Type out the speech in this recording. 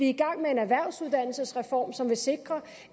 i gang med en erhvervsuddannelsesreform som vil sikre